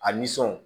A nisɔn